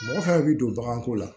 Mɔgɔ fɛn fɛn bɛ don baganko la